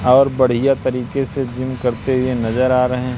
और बढ़िया तरीके से जिम करते हुए नजर आ रहे--